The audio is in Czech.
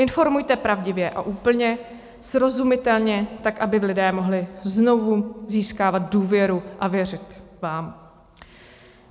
Informujte pravdivě a úplně, srozumitelně, tak aby lidé mohli znovu získávat důvěru a věřit vám.